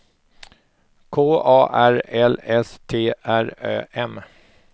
K A R L S T R Ö M